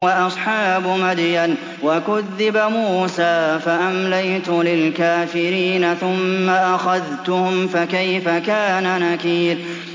وَأَصْحَابُ مَدْيَنَ ۖ وَكُذِّبَ مُوسَىٰ فَأَمْلَيْتُ لِلْكَافِرِينَ ثُمَّ أَخَذْتُهُمْ ۖ فَكَيْفَ كَانَ نَكِيرِ